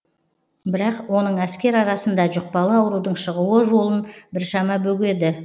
бірақ оның әскер арасында жұқпалы аурудың шығуы жолын біршама бөгеді